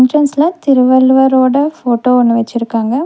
என்ட்ரன்ஸ்ல திருவள்ளுவரோட போட்டோ ஒன்னு வச்சிருக்காங்க.